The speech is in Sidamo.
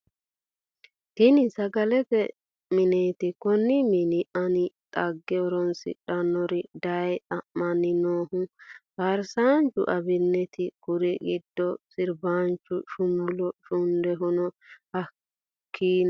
Tinni sagalete mineti konni mini Ani dagge horronsidhanorre dayee xa'mani noohu farisaanchu abinetiti kurri gidono siribaanchu shumullo shundwhuno hakiino sa'eena....